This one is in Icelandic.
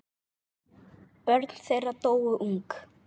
Börn þeirra dóu ung.